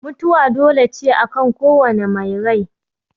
Mutuwa dole ce akan kowane mai rai